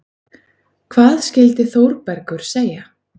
Hvað skyldi Þórbergur segja?